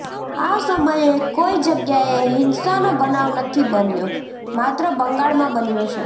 આ સમયે કોઈ જગ્યાએ હિંસાનો બનાવ નથી બન્યો માત્ર બંગાળમાં બન્યો છે